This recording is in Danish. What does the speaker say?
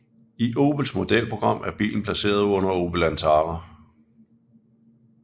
I Opels modelprogram er bilen placeret under Opel Antara